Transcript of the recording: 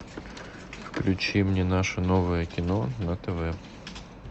включи мне наше новое кино на тв